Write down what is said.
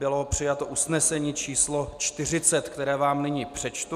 Bylo přijato usnesení číslo 40, které vám nyní přečtu.